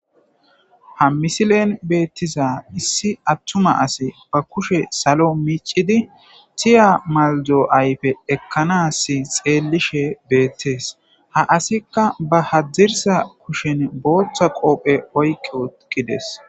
ha misilen beettiza issi attuma asi ba kushe salo miicidi tiya maldo ayfe ekkanas xeelishe beettees ha asikka ba hadirsa kushen booththa qoophe oykke eqqides